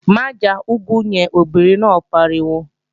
Má já úgú yẹn, obìnrin náà pariwo!